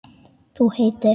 Þú heitir?